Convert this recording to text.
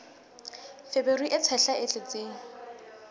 feberu e tshehla e tletseng